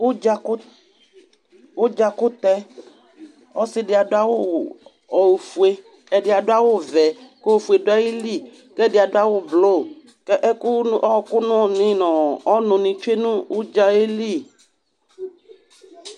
Ʋdzakʋ ʋdzakʋtɛ Ɔsɩ dɩ awʋ ofue, ɛdɩ adʋ awʋvɛ kʋ ofue dʋ ayili kʋ ɛdɩ adʋ awʋblʋ kʋ ɛkʋ nʋ ɔɣɔkɔ nʋ nɩ nʋ ɔ ɔnʋnɩ tsue nʋ ʋdza yɛ li